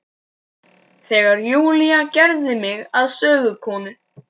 Þegar Júlía gerði mig að sögukonu.